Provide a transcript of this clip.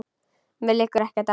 Mér liggur ekkert á.